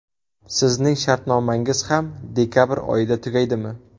Sizning shartnomangiz ham dekabr oyida tugaydimi?